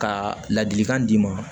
Ka ladilikan d'i ma